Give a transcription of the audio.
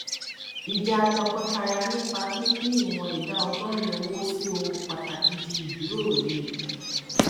ìjà tọkọtaya nípa pípín ìwọn ìdá ọgọrin owó sí ohun pàtàkì di ìjíròrò líle